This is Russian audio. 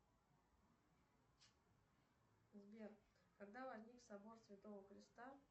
сбер когда возник собор святого креста